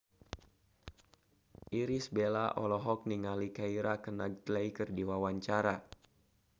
Irish Bella olohok ningali Keira Knightley keur diwawancara